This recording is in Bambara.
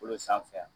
Kolo sanfɛ